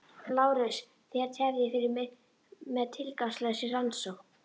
LÁRUS: Þér tefjið fyrir með tilgangslausri rannsókn.